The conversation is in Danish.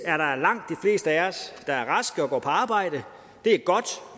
raske og går på arbejde det er godt